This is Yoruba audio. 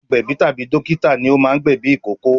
Agbẹ̀bí tàbí dókítà ní o máa ń gbẹ̀ ẹ̀bí ìkókó